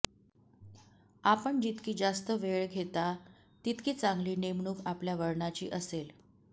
आपण जितकी जास्त वेळ घेता तितकी चांगली नेमणूक आपल्या वळणाची असेल